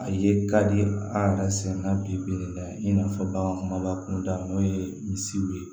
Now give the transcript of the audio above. A ye ka di an yɛrɛ sɛgɛn na bi-bi in na i n'a fɔ bagan kumaba kunda n'o ye misiw ye